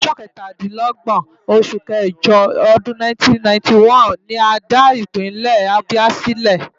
Ọjọ́ kẹtàdínlógbọ̀n oṣù kẹjọ ọdún 1991 ni a dá Ìpínlẹ̀ Abia sílẹ̀.